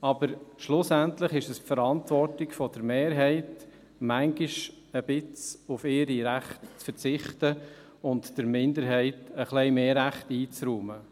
Aber schlussendlich ist es die Verantwortung der Mehrheit manchmal ein wenig auf ihre Rechte zu verzichten und der Minderheit ein wenig mehr Rechte einzuräumen.